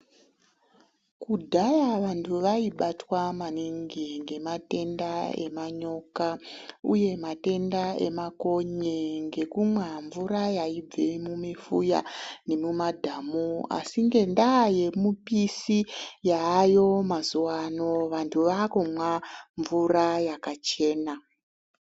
Kudhaya vantu vaibatwa maningi ngematenda emanyoka uye matenda emakonye ngekumwa mvura yaibve mumifuya nemumadhamu .Asi ngendaa yemupisi yaayo mazuwa ano ,vantu vakumwe mvura yakachena.